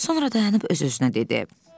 Sonra dayanıb öz-özünə dedi.